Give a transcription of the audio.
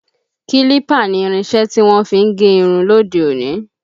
Kílípà ni irinṣẹ́ tí wọ́n fí ń gé irun lóde òní